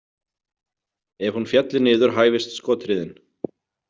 Ef hún félli niður hæfist skothríðin.